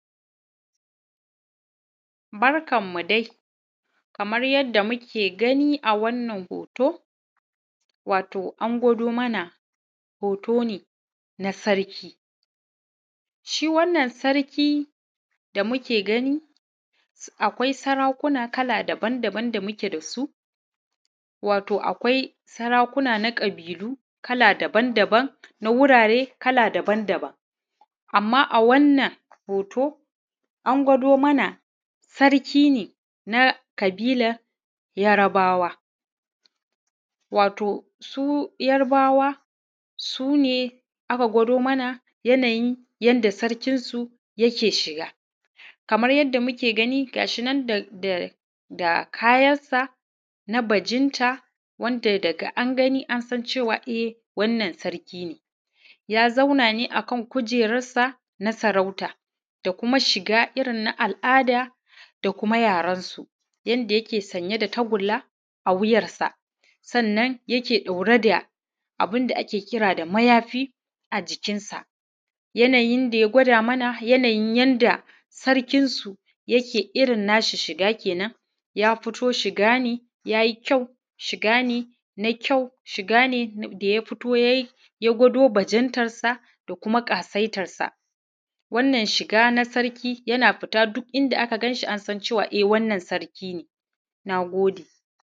Barkan mu dai, kamar yadda muke gani a wannan hoto, wato an gwado mana hoto ne na sarki. Shi wannan sarkin da muke gani, akwai sarakuna kala daban-daban da muke da su, wato akwai sarakuna na ƙabilu daban-daban, na wurare kala daban-daban. Amma a wannan hoto, a gwado mana sarki ne na ƙabilar Yarbawa. Wato su Yarbawa su ne aka gwado mana, yanayin yadda sarkinsu yake shiga. Kamar yadda muke gani, ga shi nan da kayansa na bajinta, wanda daga angani ansan cewa e sarki ne. Ya zauna ne akan kujeransa na sarauta, kuma shiga irin na al'ada da kuma yarensu. Yanda yake sanye da tagulla a wuyarsa, sannan yake ɗauke da mayafi a jikinsa. Yanayin yadda ya gwado, daman yanayin yadda sarkinsu yake. Shiga ne da ya fito, shiga ne na kyau, shiga ne da ya gwado bajinta da ƙasaitarsa. Wannan shiga na sarki ne, yana fitowa, duk inda aka ganshi, an san cewa sarki ne. Na gode.